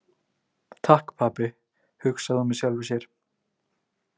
Takk pabbi, hugsaði hún með sjálfri sér.